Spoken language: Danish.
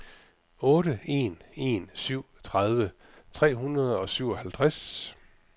otte en en syv tredive tre hundrede og syvoghalvtreds